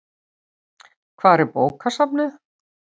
Hvar er bókasafnið?